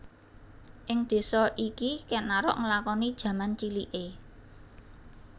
Ing désa iki Kèn Arok nglakoni jaman ciliké